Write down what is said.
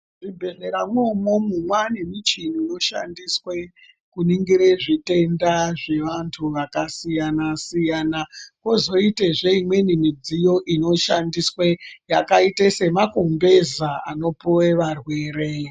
...zvibhehleramwo umwomwo mwaanemichini inoshandiswe kuningire zvitenda zvevantu vakasiyana-siyana. Kozoitezve imweni midziyo inoshandiswe yakaita semakumbeza anopuwe varwere.